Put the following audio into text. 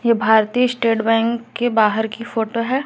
ये भारतीय state bank के बाहर की फोटो है।